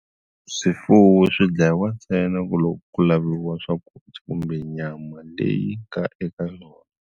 Swifuwo swi dlayiwa ntsena ku loko ku laviwa swakudya kumbe nyama leyi ka eka yona.